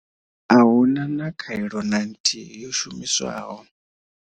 A hu na na khaelo na nthihi yo shumiswaho.